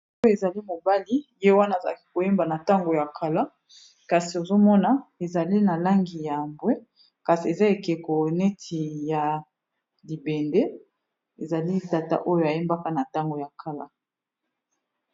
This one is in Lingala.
oyo ezali mobali ye wana azalaki koyemba na ntango ya kala kasi ozomona ezali na langi ya ambwe kasi eza ekeko neti ya libende ezali tata oyo ayembaka na ntango ya kala